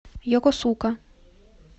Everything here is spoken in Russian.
йокосука